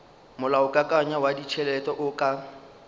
molaokakanywa wa ditšhelete o ka